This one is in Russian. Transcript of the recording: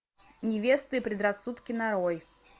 невесты и предрассудки нарой